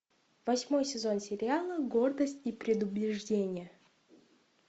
восьмой сезон сериала гордость и предубеждение